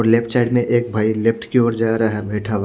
left side में एक भाई लेफ्ट की और जा रहा है --